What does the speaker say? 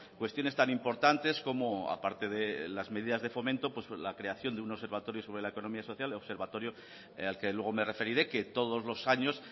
cuestiones tan importantes como aparte de las medidas de fomento la creación de un observatorio sobre la economía social observatorio al que luego me referiré que todos los años